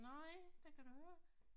Nej der kan du høre